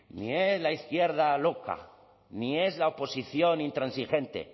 ni es la izquierda loca ni es la oposición intransigente el